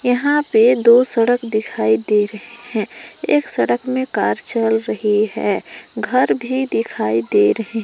यहां पे दो सड़क दिखाई दे रहे हैं। एक सड़क में कार चल रही है घर भी दिखाई दे रहे--